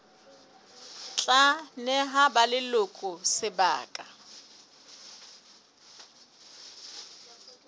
tla neha ba leloko sebaka